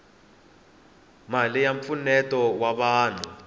mali ya mpfuneto wa vanhu